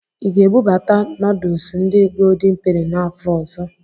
Ị ga-ebubata nọdụsụ ndi goldin peni n'afọ ọzọ?